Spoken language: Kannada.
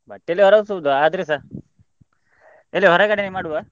ಬಟ್ಟೆಯಲ್ಲಿ ವರಸುದು ಆದ್ರುಸ ಎಲ್ಲಿ ಹೊರಗಡೆನೆ ಮಾಡುವ?